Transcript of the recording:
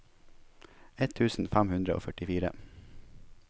ett tusen fem hundre og førtifire